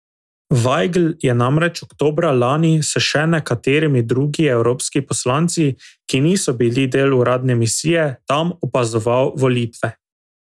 Vajgl je namreč oktobra lani s še nekaterimi drugi evropski poslanci, ki niso bili del uradne misije, tam opazoval volitve.